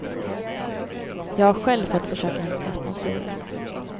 Jag har själv fått försöka hitta sponsorer.